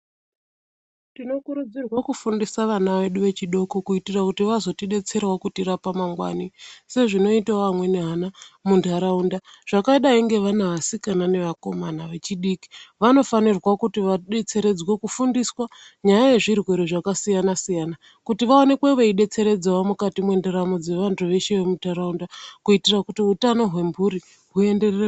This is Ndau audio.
Tinokurudzirwa kufundisa vana vedu vechidoko kuitira kuti vazotidetserawo kutirapa mangwani sezvinoita vamweni vana munharaunda zvakadayi ngevana vasikana nevakomana vechidiki vanofanirwa kuti vadetseredzwe kufundiswa nyaya yezvirwere zvakasiyana siyana kuti vaonekwe vachidetseredzawo mukati mwendaramo yevantu veshe vemunharaunda kuitira kuti hwutano hwemhuri hwuenderere...